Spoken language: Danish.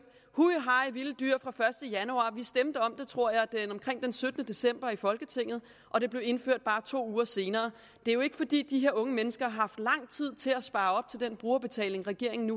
hu hej vilde dyr fra første januar vi stemte om den tror jeg omkring den syttende december i folketinget og det blev indført bare to uger senere det er jo ikke fordi de her unge mennesker har haft lang tid til at spare op til den brugerbetaling regeringen